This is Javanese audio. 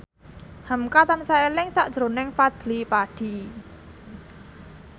hamka tansah eling sakjroning Fadly Padi